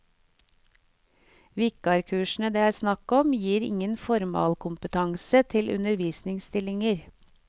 Vikarkursene det er snakk om, gir ingen formalkompetanse til undervisningsstillinger.